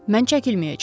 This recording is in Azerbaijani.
Mən çəkilməyəcəm.